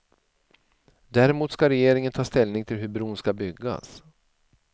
Däremot ska regeringen ta ställning till hur bron ska byggas.